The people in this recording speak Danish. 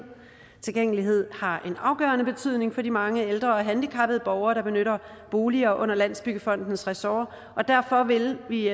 tilgængelighed har en afgørende betydning for de mange ældre og handicappede borgere der benytter boliger under landsbyggefondens ressort og derfor vil vi